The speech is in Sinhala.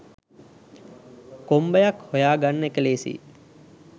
කොම්බයක් හොයාගන්න එක ලේසියි